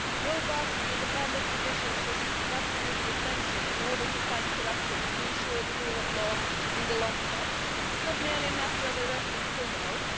A robust and independent judicial syste m is absolutely essential in order to fight corruption and to ensure the rule of law in the long term. It is not merely a matter of arresting criminals